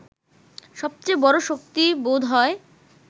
সবচেয়ে বড় শক্তি বোধ হয়